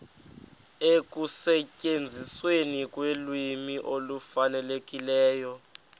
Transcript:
ekusetyenzisweni kolwimi olufanelekileyo